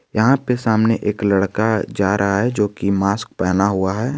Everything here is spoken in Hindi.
यहां पे सामने एक लड़का जा रहा है जोकि मास्क पहना हुआ है।